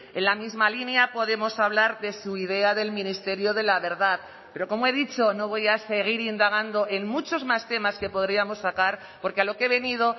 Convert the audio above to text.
en la misma línea podemos hablar de su idea del ministerio de la verdad pero como he dicho no voy a seguir indagando en muchos más temas que podríamos sacar porque a lo que he venido